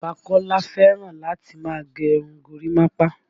Bàbá Kọ́lá fẹ́ràn láti máa gẹ irun gorímapá